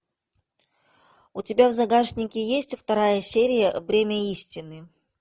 у тебя в загашнике есть вторая серия бремя истины